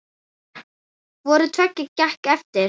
Hvoru tveggja gekk eftir.